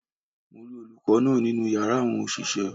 Mo rí olùkó náà nínú yàrá àwọn òṣìṣẹ́